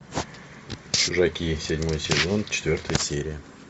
чужаки седьмой сезон четвертая серия